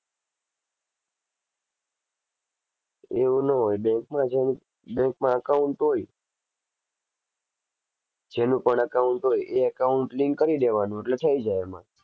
એવું નો હોય bank માં જેને bank માં account હોય જેનું પણ account હોય એ account link કરી દેવાનું એટલે થઈ જાય એમાં.